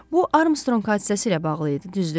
Bu Armstrong hadisəsi ilə bağlı idi, düzdür?